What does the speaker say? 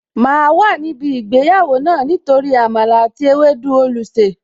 Máa wà níbí ìgbéyàwó náà Nítorí Àmàlà àti ewédú olùsè